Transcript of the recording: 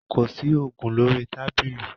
Kò sí oògùn lórí tábìlì.